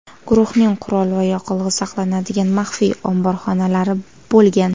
Guruhning qurol va yoqilg‘i saqlanadigan maxfiy omborxonalari bo‘lgan.